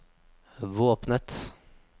våpenet